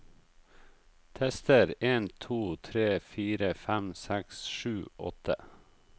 Tester en to tre fire fem seks sju åtte